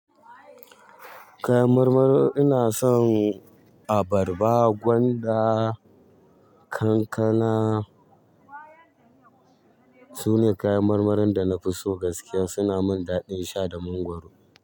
Kafin nan ina son a barba gwanda kankana. Sune kayan marmarin da na fi so gaskiya. Suna min daɗin sha da mangwaro.